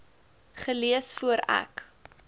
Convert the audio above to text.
gelees voor ek